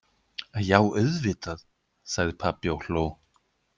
Já, auðvitað, sagði pabbi og hló.